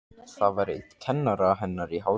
Það var einn kennara hennar í Háskólanum.